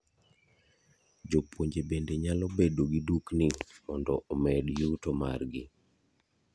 Jopuonje bende nyalo bedo gi dukni mondo omed yuto mar gi.